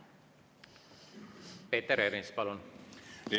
Peeter Ernits, palun!